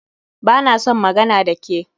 Ba na son magana da ke